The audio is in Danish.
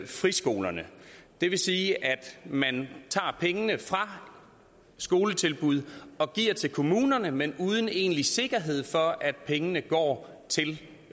friskolerne det vil sige at man tager pengene fra skoletilbud og giver til kommunerne men uden egentlig sikkerhed for at pengene går til